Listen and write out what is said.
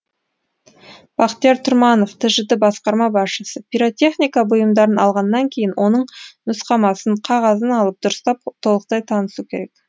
бақтияр тұрманов тжд басқарма басшысы пиротехника бұйымдарын алғаннан кейін оның нұсқамасын қағазын алып дұрыстап толықтай танысу керек